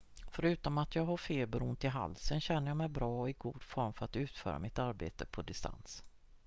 """förutom att jag har feber och ont i halsen känner jag mig bra och i god form för att utföra mitt arbete på distans.